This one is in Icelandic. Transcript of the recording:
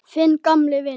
Þinn gamli vinur